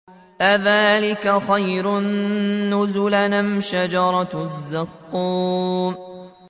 أَذَٰلِكَ خَيْرٌ نُّزُلًا أَمْ شَجَرَةُ الزَّقُّومِ